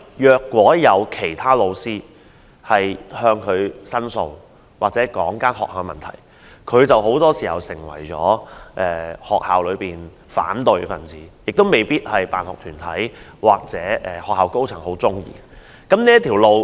若有其他老師向他提出申訴或指出學校的問題，他很多時便會成為學校內的反對派，可能成為辦學團體或學校高層所不喜歡的人物。